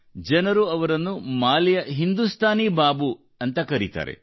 ಜನರು ಅವರನ್ನು ಮಾಲಿಯ ಹಿಂದೂಸ್ತಾನಿ ಬಾಬು ಎಂದು ಕರೆಯುತ್ತಾರೆ